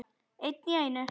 Einn í einu.